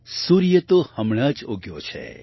સૂર્ય તો હમણાં જ ઉગ્યો છે